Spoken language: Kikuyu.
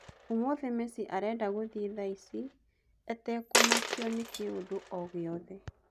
ũmũthĩ Mesi arenda gũthiĩ thaici etekũmakio nĩ kĩndũ o-gĩothe.